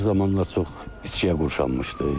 Axır zamanlar çox içkiyə qurşanmışdı.